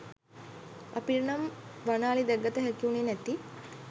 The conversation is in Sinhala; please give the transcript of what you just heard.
අපිට නම් වන අලි දැක ගත හැකිවුණේ නැති